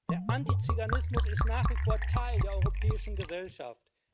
Der Antizyganismus ist nach wie vor Teil der europäischen Gesellschaft.